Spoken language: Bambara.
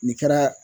Nin kɛra